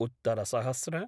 उत्तर सहस्र